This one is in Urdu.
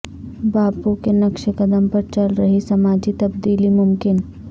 باپو کے نقش قدم پر چل کر ہی سماجی تبدیلی ممکن